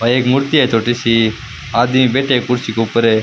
और एक मूर्ति है छोटी सी आदमी बैठे है कुर्सी के ऊपर --